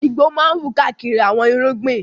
Igbó máa ń wù káàkiri àwọn irúgbìn.